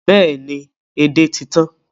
Bẹ́ẹ̀ ni, edé ti tan